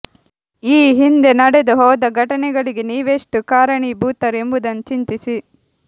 ಈ ಹಿಂದೆ ನಡೆದು ಹೋದ ಘಟನೆಗಳಿಗೆ ನೀವೆಷ್ಟು ಕಾರಣೀ ಭೂತರು ಎಂಬುದನ್ನು ಚಿಂತಿಸಿ